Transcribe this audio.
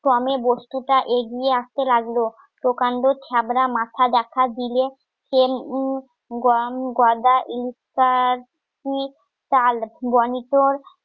ক্রমে বস্তুটা এগিয়ে আসতে লাগলো প্রকাণ্ড, থাবরা, মাথা দেখা দিলে প্রেম,